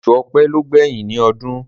Osù ọ̀pẹ ló gbẹ̀yìn ní ọdún